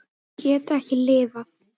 Ég get ekki lifað.